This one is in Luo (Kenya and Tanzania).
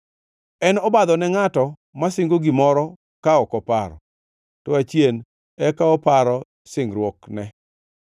En obadho ne ngʼato masingo gimoro ka ok oparo, to achien eka oparo singruokne.